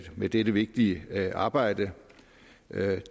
med dette vigtige arbejde